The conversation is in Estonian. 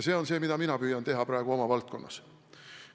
See on see, mida mina püüan praegu oma valdkonnas teha.